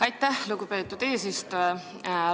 Aitäh, lugupeetud eesistuja!